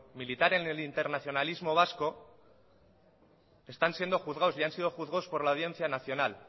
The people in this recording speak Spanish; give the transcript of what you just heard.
militar en el internacionalismo vasco están siendo juzgados y han sido juzgados por la audiencia nacional